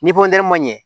Ni ma ɲɛ